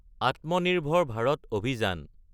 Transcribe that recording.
Atmanirbhar Bharat Abhiyan